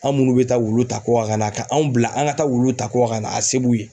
An' munnu be taa wulu ta kɔkan ka na ka anw bila an ŋa taa wuluw ta kɔkan ka na a se b'u ye.